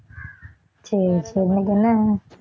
சரி, சரி இன்னைக்கு என்ன